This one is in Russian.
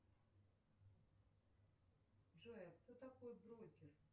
джой а кто такой брокер